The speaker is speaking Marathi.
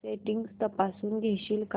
सेटिंग्स तपासून घेशील का